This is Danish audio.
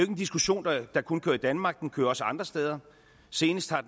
en diskussion der kun kører i danmark den kører også andre steder senest har